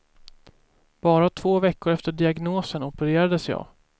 Bara två veckor efter diagnosen opererades jag.